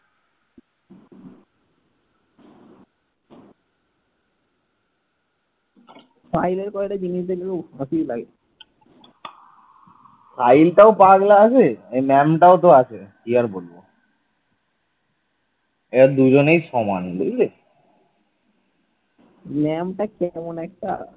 ma'am টা কেমন একটা